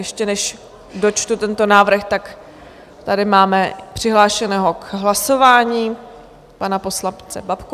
Ještě než dočtu tento návrh, tak tady máme přihlášeného k hlasování pana poslance Babku.